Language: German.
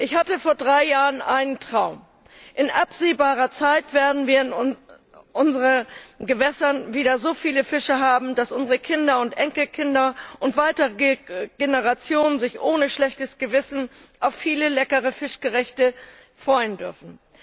Ich hatte vor drei Jahren einen Traum. In absehbarer Zeit werden wir in unseren Gewässern wieder so viele Fische haben, dass sich unsere Kinder, Enkelkinder und weitere Generationen ohne schlechtes Gewissen auf viele leckere Fischgerichte freuen dürfen.